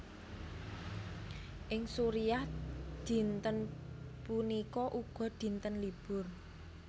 Ing Suriah dinten puniki uga dinten libur